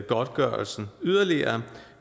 godtgørelsen yderligere